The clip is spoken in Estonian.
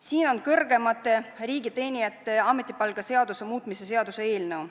Siin on kõrgemate riigiteenijate ametipalkade seaduse muutmise seaduse eelnõu.